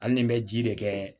Hali ni n bɛ ji de kɛ